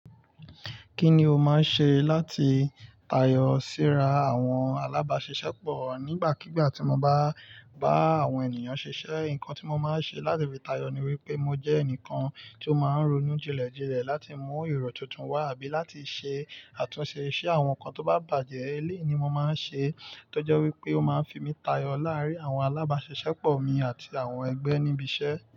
Kí ni o máa ń ṣe láti tayọ síra àwọn alábáṣiṣẹ́pọ̀ nígbàkigbà tí mo bá bá àwọn ènìyàn ṣiṣẹ́? Nǹkan tí mo máa ń ṣe láti fi tayọ ni wípé mo jẹ́ ẹnìkan tí ó máa ń ronú jinlẹ̀jinlẹ̀ láti mú ironu tuntun wá àbí láti ṣe àtúnṣe iṣẹ́ àwọn nǹkan tó bá bàjẹ́. Eléyi ni mo máa ń ṣe tó jẹ́ wípé ó máa ń fi mí tayọ láàárín àwọn alábáṣiṣẹ́pọ̀ mi àti àwọn ẹgbẹ́ níbi iṣẹ́.